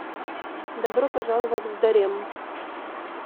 добро пожаловать в дарем